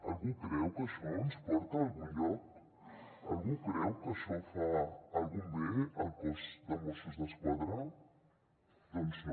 algú creu que això ens porta a algun lloc algú creu que això fa algun bé al cos de mossos d’esquadra doncs no